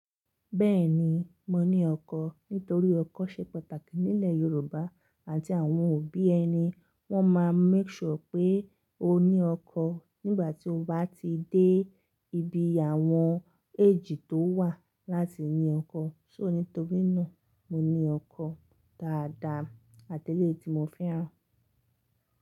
Bẹ́ẹ̀ni, mo ní ọkọ̀ nítorí ọkọ̀ ṣe pàtàkì nílẹ̀ Yorùbá àti àwọn òbí ẹni wọ́n máa make sure pé o ní ọkọ̀ nígbà tí o bá ti dé ibi àwọn age tó wà láti ní ọkọ̀. So nítorí náà mo ní ọkọ̀ dáadáa àtẹ́lẹ̀ tí mo fẹ́ràn.